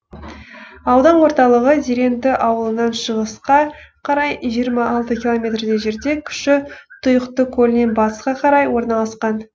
аудан орталығы зеренді ауылынан шығысқа қарай жиырма алты километрдей жерде кіші тұйықты көлінен батысқа қарай орналасқан